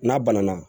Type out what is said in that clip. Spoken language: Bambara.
N'a banana